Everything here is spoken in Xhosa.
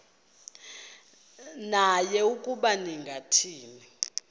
naye ukuba ningathini